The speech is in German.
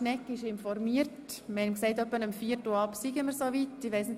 Schnegg ist informiert und wir haben ihm mitgeteilt, dass wir eher soweit seien.